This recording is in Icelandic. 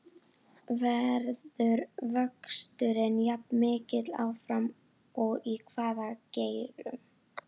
Verður vöxturinn jafn mikill áfram og í hvaða geirum?